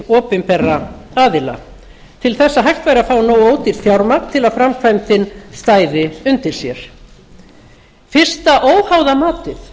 opinberra aðila til þess að hægt væri að fá nógu ódýrt fjármagn til þess að framkvæmdin stæði undir sér fyrsta óháða matið